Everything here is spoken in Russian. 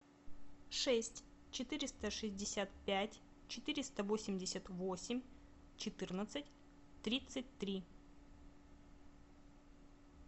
шесть четыреста шестьдесят пять четыреста восемьдесят восемь четырнадцать тридцать три